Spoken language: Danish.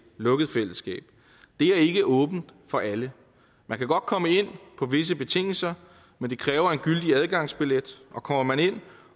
lukket fællesskab det er ikke åbent for alle man kan godt komme ind på visse betingelser men det kræver en gyldig adgangsbillet og kommer man ind